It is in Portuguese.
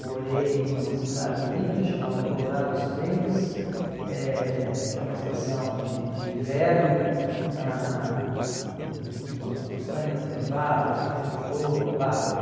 Morei numa cidade linda chamada Colorado Springs, uhum, eh que é uma estação de de inverno, ãh hum umas montanhas nevadas o tempo todo, bárbaro.